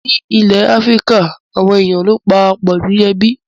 Ní ilẹ̀ Áfíríkà, àwọn èèyàn ló ń para pọ̀ di ẹbí